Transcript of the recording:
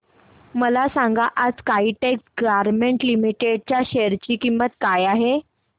मला सांगा आज काइटेक्स गारमेंट्स लिमिटेड च्या शेअर ची किंमत काय आहे